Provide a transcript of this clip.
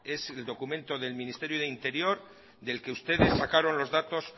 es el documento del ministerio de interior del que ustedes sacaron los datos